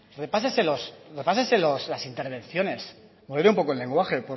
repáseselos repásese las intervenciones modere un poco el lenguaje